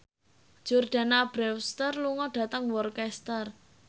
Jordana Brewster lunga dhateng Worcester